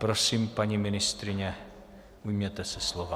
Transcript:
Prosím, paní ministryně, ujměte se slova.